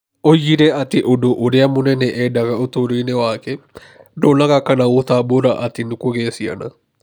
Oigire atĩ ũndũ ũrĩa mũnene eendaga ũtũũro-inĩ wake, ndonaga kana gũtambũra atĩ nĩ kũgĩa ciana.